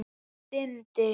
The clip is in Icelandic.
Það dimmdi.